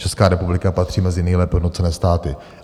Česká republika patří mezi nejlépe hodnocené státy.